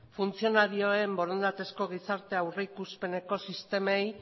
funtzionarioen borondatezko gizarte aurreikuspeneko sistemei